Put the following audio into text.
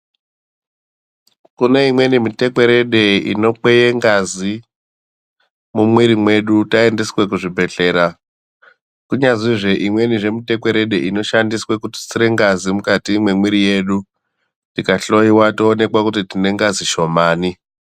Kune imweni mitekwerede unokweye ngazi mumwiwiri mwedu taendeswe kuzvibhedhlera koita imweni mitekwerede inoshandiswe kututsira ngazi mukati mwemwiwiri mwedu tikahloyiwa toonekwa kuti tine ngazi shomani.